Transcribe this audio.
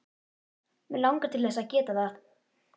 Mig langar til þess að geta það.